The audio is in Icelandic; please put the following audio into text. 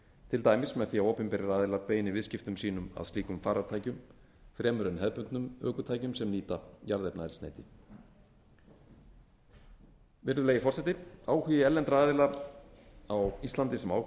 til dæmis með því að opinberir aðilar beini viðskiptum sínum að slíkum farartækjum fremur en hefðbundnum ökutækjum sem nýta jarðefnaeldsneyti virðulegi forseti áhugi erlendra aðila á íslandi sem